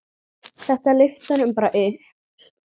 Þetta lyfti honum bara upp.